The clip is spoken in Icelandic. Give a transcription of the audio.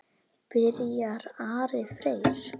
Byrjar Ari Freyr?